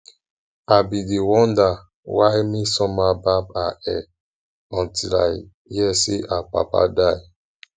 i bin dey wonder why mmesoma barb her hair until i hear say her papa die